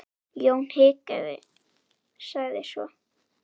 Jón hikaði, sagði svo